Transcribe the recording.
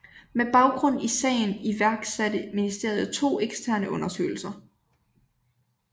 Med baggrund i sagen iværksatte ministeriet to eksterne undersøgelser